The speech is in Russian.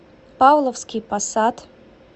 павловский посад